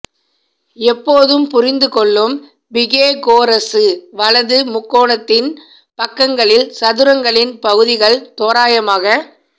எப்போதும் புரிந்து கொள்ளும் பிகேகோரசு வலது முக்கோணத்தின் பக்கங்களில் சதுரங்களின் பகுதிகள் தோராயமாக